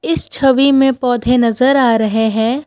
इस छवि में पौधे नजर आ रहे हैं।